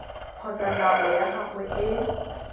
kgotsa nako ya gagwe e